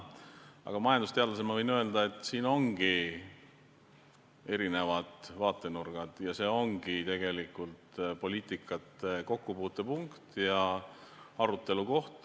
Aga majandusteadlasena võin öelda, et siin ongi erinevad vaatenurgad ja see ongi tegelikult poliitikate kokkupuutepunkt ja arutelu koht.